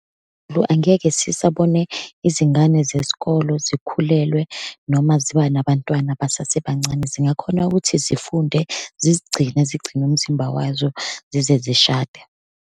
Lo angeke sisabone izingane zesikolo zikhulelwe, noma ziba nabantwana basasebancane, zingakhona ukuthi zifunde, zizigcine, zigcine umzimba wazo, zize zishade.